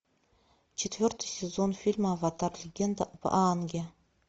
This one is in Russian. четвертый сезон фильма аватар легенда об аанге